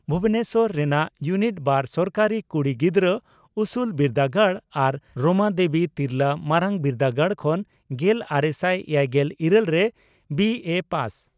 ᱵᱷᱩᱵᱚᱱᱮᱥᱚᱨ ᱨᱮᱱᱟᱜ ᱭᱩᱱᱤᱴᱼᱵᱟᱨ ᱥᱚᱨᱠᱟᱨᱤ ᱠᱩᱲᱤ ᱜᱤᱫᱽᱨᱟᱹ ᱩᱥᱩᱞ ᱵᱤᱨᱫᱟᱹᱜᱟᱲ ᱟᱨ ᱨᱚᱢᱟᱫᱮᱵᱤ ᱛᱤᱨᱞᱟᱹ ᱢᱟᱨᱟᱝ ᱵᱤᱨᱫᱟᱹᱜᱟᱲ ᱠᱷᱚᱱ ᱜᱮᱞᱟᱨᱮᱥᱟᱭ ᱮᱭᱟᱭᱜᱮᱞ ᱤᱨᱟᱹᱞ ᱨᱮ ᱵᱤᱮᱹ ᱯᱟᱥ ᱾